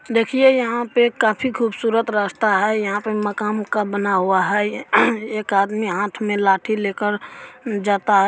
देखिए यहां पे काफी खूबसूरत रास्ता है। यहां पे मकाम का बना हुआ है ये। एक आदमी हाथ में लाठी लेकर जाता है।